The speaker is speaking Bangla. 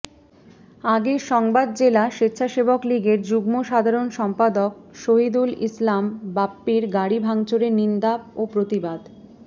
আগের সংবাদ জেলা স্বেচ্ছাসেবকলীগের যুগ্ম সাধারণ সম্পাদক শহিদুল ইসলাম বাপ্পীর গাড়ি ভাংচুরের নিন্দা ও প্রতিবাদ